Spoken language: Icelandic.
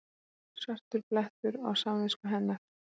Svartur blettur á samvisku hennar.